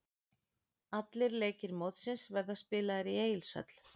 Allir leikir mótsins verða spilaðir í Egilshöll.